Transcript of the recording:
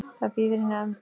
Það bíður í nefnd.